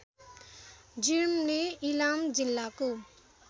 जिर्मले इलाम जिल्लाको